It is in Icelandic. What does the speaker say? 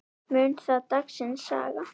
Mun það dagsins saga.